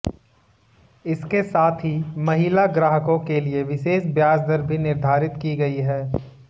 इसके साथ ही महिला ग्राहकों के लिए विशेष ब्याज दर भी निर्धारित की गई है